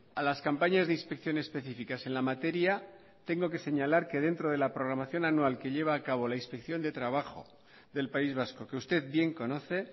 a las campañas de inspección específicas en la materia tengo que señalar que dentro de la programación anual que lleva a cabo la inspección de trabajo del país vasco que usted bien conoce